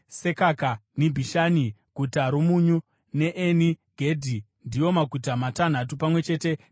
Nibhishani, Guta roMunyu, neEni Gedhi ndiwo maguta matanhatu pamwe chete nemisha yawo.